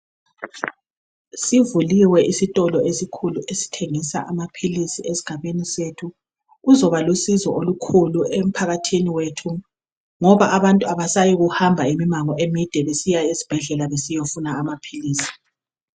Sivuliwe isitolo esikhulu esithengisa amaphilisi esgabeni sethu. Kuzoba lusizo olukhulu emphakathini wethu, ngoba abantu abasayi kuhamba imango emide besiya esbhedlela besiyofuna amaphilisi.